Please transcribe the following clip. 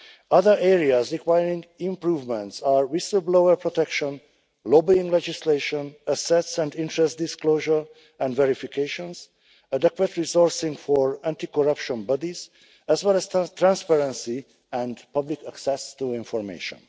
Other areas requiring improvement are whistle-blower protection, lobbying legislation, assets and interest disclosure and verifications, adequate resourcing for anti corruption bodies, as well as transparency and public access to information.